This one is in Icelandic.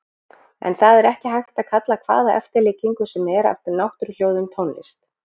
En það er ekki hægt að kalla hvaða eftirlíkingu sem er af náttúruhljóðum tónlist.